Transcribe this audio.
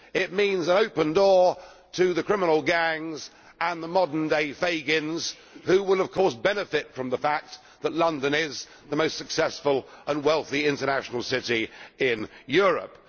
it means an open door to the criminal gangs and the modern day Fagins who will of course benefit from the fact that London is the most successful and wealthy international city in Europe.